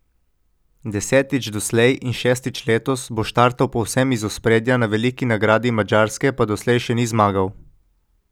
Desetič doslej in šestič letos bo štartal povsem iz ospredja, na veliki nagradi Madžarske pa doslej še ni zmagal.